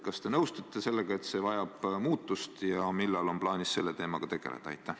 Kas te nõustute sellega, et see vajab muutust, ja millal on plaanis selle teemaga tegelda?